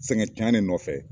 Sɛgɛn cɛnnen nɔfɛ